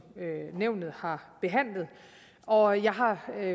nævnet har behandlet og jeg har